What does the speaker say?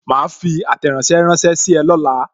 Ma fi àtẹ̀ránsẹ́ ránsẹ́ sí ọ lọla